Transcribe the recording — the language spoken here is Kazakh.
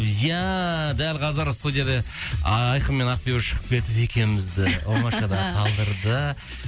ия дәл қазір студияда айқын мен ақбибі шығып кетіп екеумізді оңашада қалдырды